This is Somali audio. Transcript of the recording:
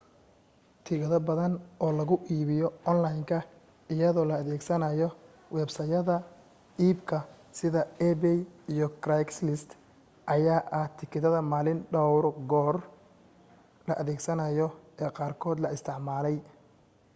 tikidho badan oo lagu iibiyo onlaynka iyadoo la adeegsanayo websaydhyada iibka sida ebay iyo craigslist ayaa ah tikidhada maalinki dhowr goor la adeegsado ee qaarkood la isticmaalay